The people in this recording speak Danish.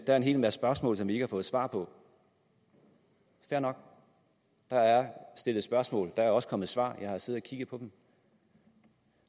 er en hel masse spørgsmål som vi ikke har fået svar på fair nok der er stillet spørgsmål og der er også kommet svar jeg har siddet og kigget på dem